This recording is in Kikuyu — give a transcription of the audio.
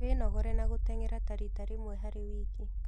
Wĩnogore na gũtengera ta rita rĩmwe harĩ wiki